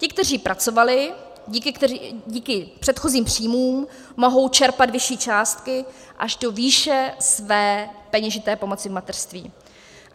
Ti, kteří pracovali, díky předchozím příjmům mohou čerpat vyšší částky až do výše své peněžité pomoci v mateřství.